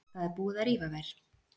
Það er búið að rífa þær.